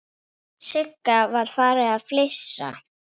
Sigga var farin að flissa.